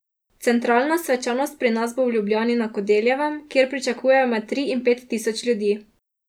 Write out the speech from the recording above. Centralna svečanost pri nas bo v Ljubljani na Kodeljevem, kjer pričakujejo med tri in pet tisoč ljudi.